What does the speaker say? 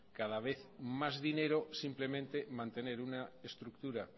cada vez más dinero simplemente mantener una estructura